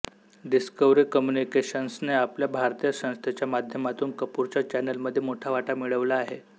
discovery कम्युनिकेशन्सने आपल्या भारतीय संस्थेच्या माध्यमातून कपूरच्या चॅनेलमध्ये मोठा वाटा मिळवला आहे